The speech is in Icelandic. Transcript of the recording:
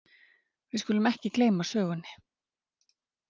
Við skulum ekki gleyma sögunni!